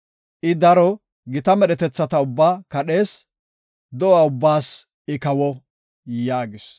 I daro gita medhetethata ubbaa kadhees; do7a ubbaas I kawo” yaagis.